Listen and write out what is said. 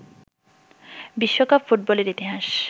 বিশ্বকাপ ফুটবলের ইতিহাস